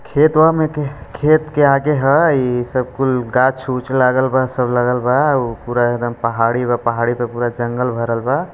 खेतवा में के खे खेत के आगे हाई ये सब कुछ गाछ उच्छ लगालवा सब लगालवा उ पूरा एकदम पहाड़ी वो पहाड़ी पूरा जंगल भरलवा--